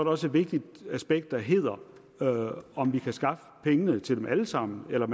også et vigtigt aspekt der hedder om vi kan skaffe pengene til dem alle sammen eller